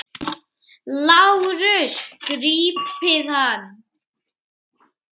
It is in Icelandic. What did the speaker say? LÁRUS: Grípið hann!